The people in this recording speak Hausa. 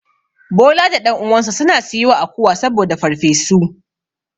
Bola da ɗan uwansa suna siyo akuwa saboda farfesu.